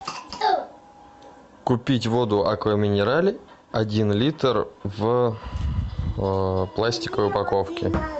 купить воду аква минерале один литр в пластиковой упаковке